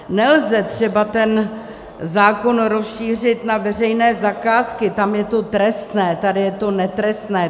Nelze třeba ten zákon rozšířit na veřejné zakázky, tam je to trestné, tady je to netrestné.